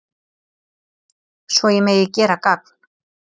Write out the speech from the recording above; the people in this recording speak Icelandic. svo ég megi gera gagn